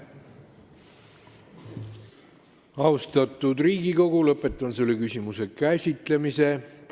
Austatud Riigikogu, lõpetan selle küsimuse käsitlemise.